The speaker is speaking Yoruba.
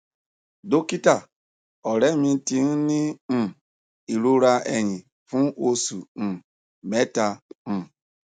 dókítà ọrẹ mi ti ń ní um ìrora ẹyìn fún oṣù um mẹta um